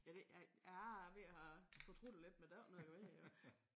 Jeg ved jeg er ved at have fortrudt det lidt men der er jo ikke noget at gøre ved det